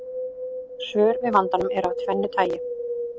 Svör við vandanum eru af tvennu tagi.